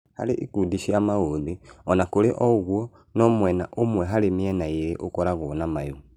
Harĩ ikundi nini cia maũthĩ ,ona kũrĩ ũguo, `no mwena ũmwe harĩ mĩena ĩrĩ ũkoragwo na mayũ